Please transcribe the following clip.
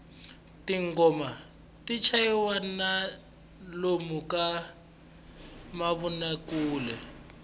tinghoma ti chayisiwa ni lomu ka mavonakule